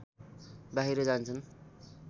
बाहिर जान्छन्